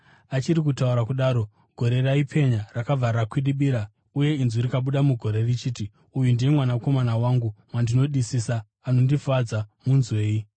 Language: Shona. Achiri kutaura kudaro, gore raipenya rakabva ravakwidibira, uye inzwi rikabuda mugore richiti, “Uyu ndiye Mwanakomana wangu wandinodisa, anondifadza. Munzwei!”